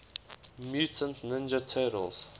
mutant ninja turtles